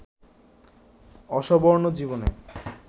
Osborne জীবনে